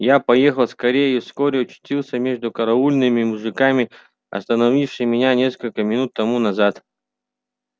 я поехал скорее и вскоре очутился между караульными мужиками остановившими меня несколько минут тому назад